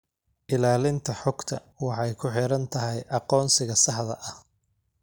Ilaalinta xogta waxay ku xiran tahay aqoonsiga saxda ah.